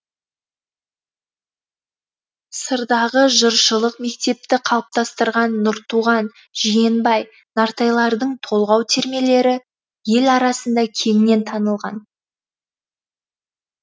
сырдағы жыршылық мектепті қалыптастырған нұртуған жиенбай нартайлардың толғау термелері ел арасында кеңінен танылған